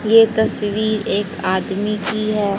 ये तस्वीर एक आदमी की है।